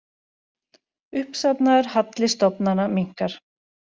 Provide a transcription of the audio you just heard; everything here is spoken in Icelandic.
Uppsafnaður halli stofnana minnkar